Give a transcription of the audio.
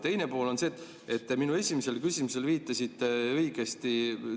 Teine pool on see, et te minu esimesele küsimusele viitasite õigesti.